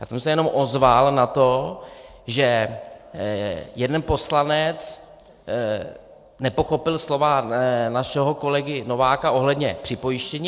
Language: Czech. Já jsem se jenom ozval na to, že jeden poslanec nepochopil slova našeho kolegy Nováka ohledně připojištění.